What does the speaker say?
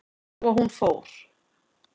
Svo hún fór.